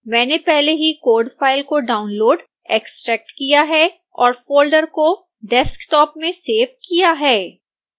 मैंने पहले ही कोड़ फाइल को डाउनलोड़ एक्स्ट्रैक्ट किया है और फोल्डर को desktop में सेव किया है